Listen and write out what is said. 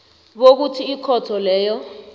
bokuthi ikhotho leyo